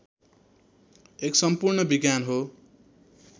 एक सम्पूर्ण विज्ञान हो